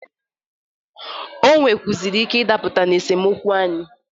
Ọ nwekwụazịrị ike ịdapụta n'esemokwu anị.